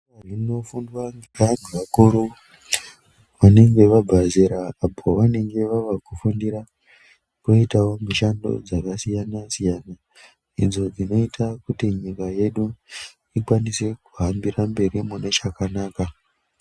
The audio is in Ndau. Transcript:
Zvinofundwa ngevanhu vakuru vanenge vabva zera apo vanenge vava kufundira mishando dzakasiyana-siyana idzo dzinoita kuti nyika yedu ikwanise kuhambira mberi mune chakanaka.